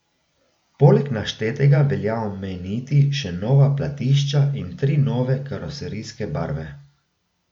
Poleg naštetega velja omeniti še nova platišča in tri nove karoserijske barve.